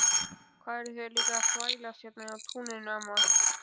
Hvað eruð þið líka að þvælast hérna á túninu amma?